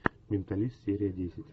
менталист серия десять